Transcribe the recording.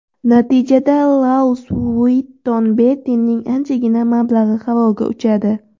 Natijada Louis Vuitton brendining anchagina mablag‘i havoga uchadi.